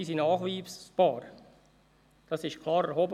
Das wurde klar erhoben.